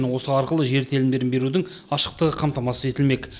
осы арқылы жер телімдерін берудің ашықтығы қамтамасыз етілмек